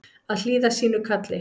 Að hlýða sínu kalli